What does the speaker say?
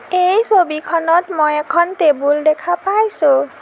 এই ছবিখনত মই এখন টেবুল দেখা পাইছোঁ।